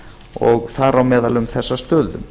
og þar á meðal um þessa stöðu